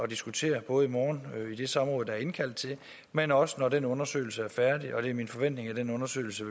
diskutere både i morgen i det samråd der er indkaldt til men også når den undersøgelse er færdig og det er min forventning at den undersøgelse